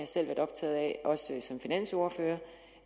selv været optaget af også som finansordfører